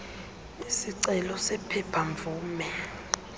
isicelo sephepha mvume